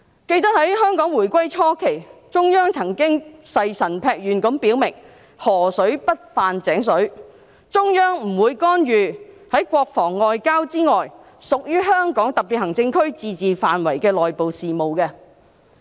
記得在香港回歸初期，中央曾經誓神劈願地表明"河水不犯井水"，中央不會干預在國防外交之外屬於香港特別行政區自治範圍的內部事務。